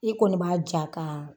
I kɔni ba Ja ka